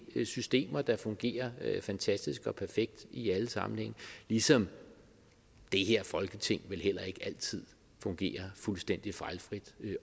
systemer der fungerer fantastisk og perfekt i alle sammenhænge ligesom det her folketing vel heller ikke altid fungerer fuldstændig fejlfrit